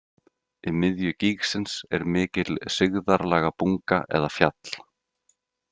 Í miðju gígsins er mikil sigðarlaga bunga eða fjall.